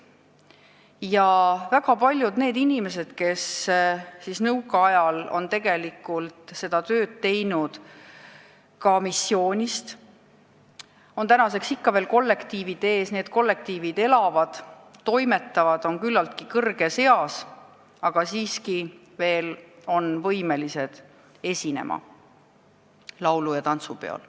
Ja väga paljud inimesed, kes siis nõukaajal on tegelikult seda tööd teinud ka missioonist, on tänaseks ikka veel kollektiivide ees, nii et kollektiivid elavad, toimetavad, on küllaltki kõrges eas, aga siiski veel on võimelised esinema laulu- ja tantsupeol.